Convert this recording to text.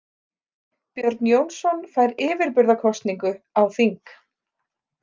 Björn Jónsson fær yfirburðakosningu á þing.